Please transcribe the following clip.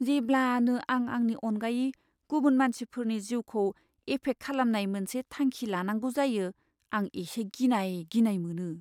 जेब्लानो आं आंनि अनगायै गुबुन मानसिफोरनि जिउखौ एफेक्ट खालामनाय मोनसे थांखि लानांगौ जायो, आं इसे गिनाय गिनाय मोनो।